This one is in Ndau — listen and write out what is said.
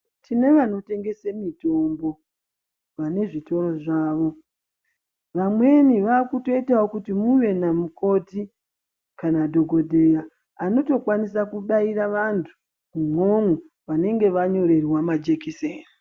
Tine vanotengese mitombo. Vane zvitoro zvavo. Vamweni vakutoitawo kuti muve namukoti kana dhokodheya vanotokwanisa kubaira vantu umwomwo vanenge vanyorerwa majekiseni.